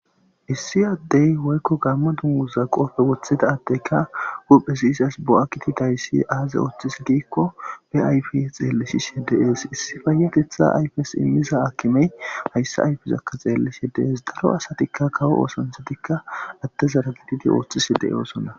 Issi addey woykko gammo dunguza qoofe woththida addeyka huphe izas bo'a gididayssi aaze ooththize giikko be ayfe xeellisishe dees issi payateththa ayfes immiza haakimey hayssa ayfezakka xeellishe dees daro asatikka kawo oosanchchatikka addezara gididikka ooththishe de'osonna